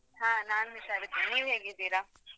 ಹಾ ನಾನ್ ಹುಷಾರಿದ್ದೇನೆ ನೀವ್ ಹೇಗಿದ್ದೀರಾ?